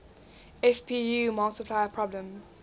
fpu multiplier problem